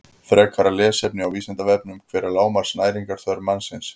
Frekara lesefni á Vísindavefnum: Hver er lágmarks næringarþörf mannsins?